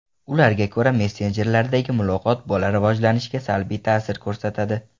Ularga ko‘ra, messenjerlardagi muloqot bola rivojlanishiga salbiy ta’sir ko‘rsatadi.